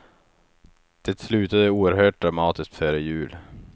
Det slutade oerhört dramatiskt före jul.